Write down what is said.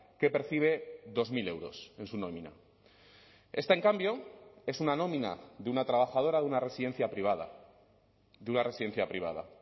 que percibe dos mil euros en su nómina esta en cambio es una nómina de una trabajadora de una residencia privada de una residencia privada